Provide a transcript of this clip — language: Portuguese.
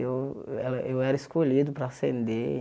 Eu ela eu era escolhido para ascender.